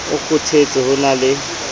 o kgothetse ho na le